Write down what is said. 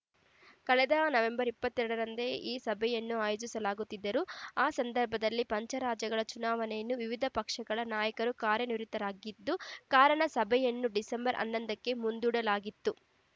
ಕಳೆದ ನವೆಂಬರ್ ಇಪ್ಪತ್ತೆರಡರಂದೇ ಈ ಸಭೆಯನ್ನು ಆಯೋಜಿಸಲಾಗಿತ್ತಾದರೂ ಆ ಸಂದರ್ಭದಲ್ಲಿ ಪಂಚರಾಜ್ಯಗಳ ಚುನಾವಣೆಯನ್ನು ವಿವಿಧ ಪಕ್ಷಗಳ ನಾಯಕರು ಕಾರ್ಯನಿರತರಾಗಿದ್ದ ಕಾರಣ ಸಭೆಯನ್ನು ಡಿಸೆಂಬರ್ ಹನ್ನೊಂದಕ್ಕೆ ಮುಂದೂಡಲಾಗಿತ್ತು